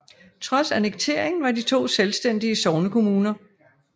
Trods annekteringen var de to selvstændige sognekommuner